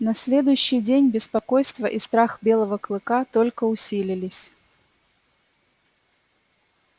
на следующий день беспокойство и страх белого клыка только усилились